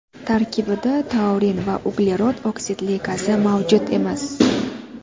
Tarkibida taurin va uglerod oksidli gazi mavjud emas.